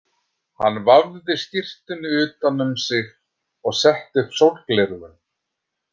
Hann vafði skyrtunni utan um sig og setti upp sólgleraugun.